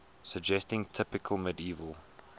suggesting typical medieval